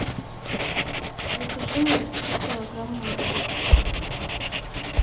закажи мне три килограмма моркови